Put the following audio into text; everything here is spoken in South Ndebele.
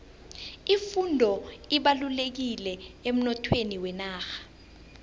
ifundo ibalulekile emnothweni wenarha